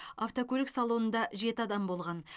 автокөлік салонында жеті адам болған